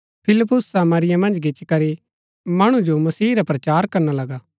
फिलिप्पुस सामरिया मन्ज गिच्ची करी मणु जो मसीह रा प्रचार करना लगा